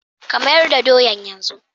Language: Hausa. ka mayar da soyan yanzu